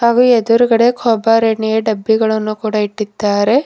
ಹಾಗೂ ಎದುರುಗಡೆ ಕೊಬ್ಬರೆಣ್ಣೆ ಡಬ್ಬಿಗಳನ್ನು ಕೂಡ ಇಟ್ಟಿದ್ದಾರೆ.